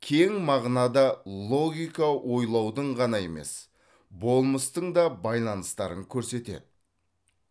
кең мағынада логика ойлаудың ғана емес болмыстың да байланыстарын көрсетеді